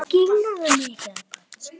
Glópa lán